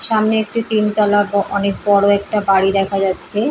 সামনে একটি তিনতলা ব অনেক বড় একটা বাড়ি দেখা যাচ্ছে।